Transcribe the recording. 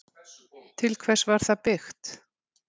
Til hvers var það byggt?